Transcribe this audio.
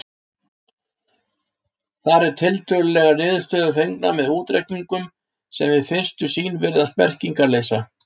Þar eru tölulegar niðurstöður fengnar með útreikningum sem við fyrstu sýn virðast merkingarleysa.